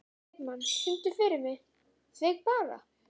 Heiðmann, syngdu fyrir mig „Þig bara þig“.